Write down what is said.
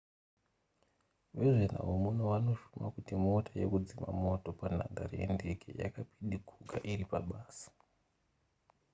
vezvenhau muno vanoshuma kuti mota yekudzima moto panhandare yendege yakapidiguka iri pabasa